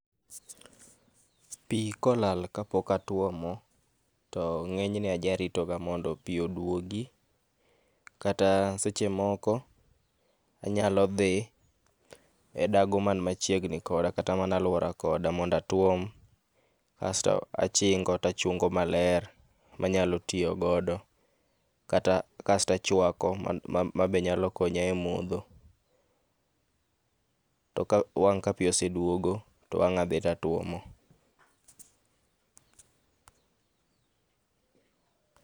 Pii kolal kapok atuomo to ngenyne ajaritoga mondo pii oduogi kata seche moko anyalo dhi e dago man machiegni koda kata mana aluora koda mondo atuom asto achingo tachungo maler manyalo tiyo godo kata, asto achwako mabe nyalo konya e modho to wang ka pii oseduogo tanyalo dhi to atuomo